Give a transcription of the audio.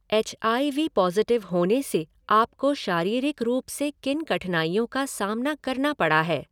H I V positive होने से आपको शारीरिक रूप से किन कठिनाइयों का सामना करना पड़ा है?